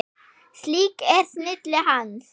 Slík er snilli hans.